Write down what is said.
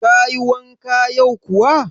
Kayi wanka yau kuwa?